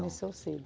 Começou cedo.